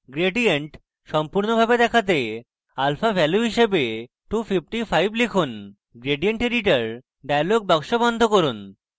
gradient সম্পূর্ণরূপে দেখাতে alpha value হিসাবে 255 লিখুন gradient editor dialog box বন্ধ করুন